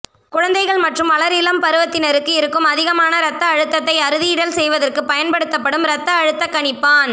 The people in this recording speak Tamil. குழந்தைகள் மற்றும் வளர் இளம் பருவத்தினருக்கு இருக்கும் அதிகமான இரத்த அழுத்தத்தை அறுதியிடல் செய்வதற்கு பயன்படுத்தப்படும் இரத்த அழுத்த கணிப்பான்